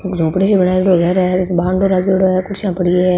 छोपडी सी बनाईडी घर है कुर्सियां पड़ी है।